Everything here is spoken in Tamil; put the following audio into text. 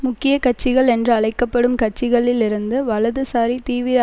முக்கிய கட்சிகள் என்று அழைக்க படும் கட்சிகளில் இருந்து வலதுசாரி தீவிர